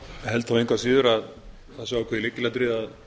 held engu að síður að það sé ákveðið lykilatriði að